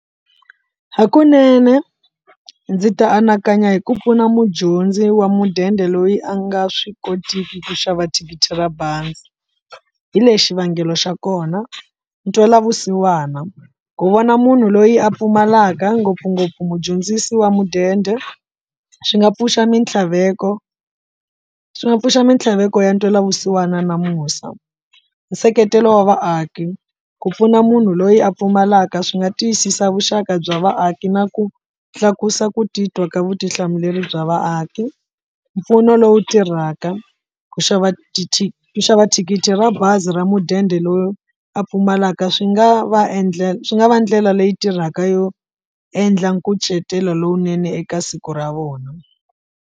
Hakunene ndzi ta anakanya hi ku pfuna mudyondzi wa mudende loyi a nga swi kotiki ku xava thikithi ra bazi, hi lexi xivangelo xa kona, ntwelavusiwana, ku vona munhu loyi a pfumalaka ngopfungopfu mudyondzisi wa mudende swi nga pfuxa mintlhaveko swi nga pfuxa mintlhaveko ya ntwelavusiwana na musa. Nseketelo wa vaaki ku pfuna munhu loyi a pfumalaka swi nga tiyisisa vuxaka bya vaaki na ku tlakusa ku titwa ka vutihlamuleri bya vaaki, mpfuno lowu tirhaka ku xava ku xava thikithi ra bazi ra mudende ra loyi a pfumalaka swi nga va swi nga va ndlela leyi tirhaka yo endla nkucetelo lowunene eka siku ra vona.